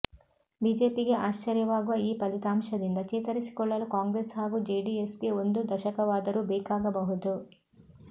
ಬಿಜೆಪಿಗೆ ಆಶ್ಚರ್ಯವಾಗುವ ಈ ಫಲಿತಾಂಶದಿಂದ ಚೇತರಿಸಿಕೊಳ್ಳಲು ಕಾಂಗ್ರೆಸ್ ಹಾಗೂ ಜೆಡಿಎಸ್ಗೆ ಒಂದು ದಶಕವಾದರೂ ಬೇಕಾಗಬಹುದು